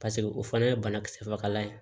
Paseke o fana ye banakisɛ fagalan ye